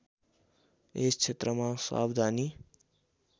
यस क्षेत्रमा सावधानी